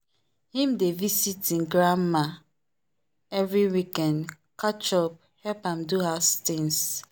him dey visit e grandmama every weekend catch up help am do house things.